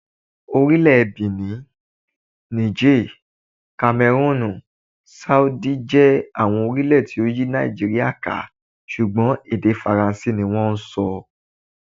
Orílè Bìní, Nííjè, Kamẹrúùnù, Ṣáàdì, jẹ́ àwọn orílẹ̀ tó yí Nàìjíríà ká, ṣùgbọ́n èdè Faransé ni wón ń sọ.